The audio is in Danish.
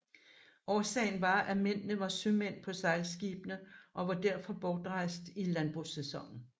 Årsagen var at mændene var sømænd på sejlskibene og var derfor bortrejst i landbrugssæsonen